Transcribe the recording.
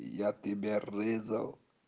я тебя резал